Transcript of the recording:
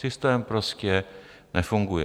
Systém prostě nefunguje.